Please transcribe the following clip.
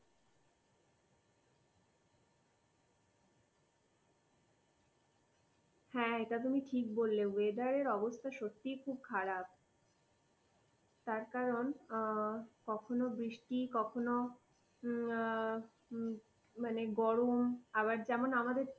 হ্যাঁ, এটা তুমি ঠিক বললে। whether অবস্থা সত্যিই খুব খারাপ। তার কারণ কখনো বৃষ্টি, কখনো মানে গরম, আবার যেমন আমাদের